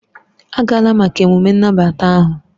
Agala maka ememme ahụ!